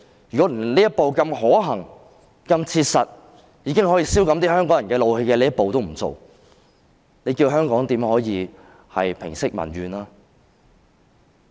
如果連這樣可行、切實及可消減香港人一點怒氣的一步也不走，你教人可如何平息民怨？